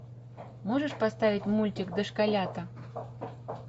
можешь поставить мультик дошколята